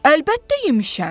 Əlbəttə yemişəm.